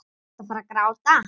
Ertu að fara að gráta?